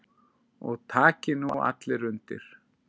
Og taki nú allir undir.